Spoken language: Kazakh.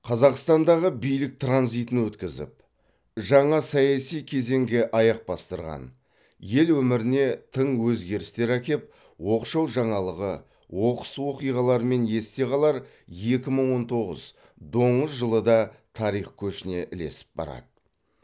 қазақстандағы билік транзитін өткізіп жаңа саяси кезеңге аяқ бастырған ел өміріне тың өзгерістер әкеп оқшау жаңалығы оқыс оқиғаларымен есте қалар екі мың он тоғыз доңыз жылы да тарих көшіне ілесіп барады